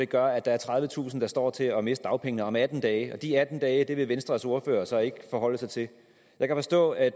gør at der er tredivetusind der står til at miste dagpengene om atten dage og de atten dage vil venstres ordfører så ikke forholde sig til jeg kan forstå at